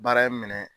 Baara in minɛ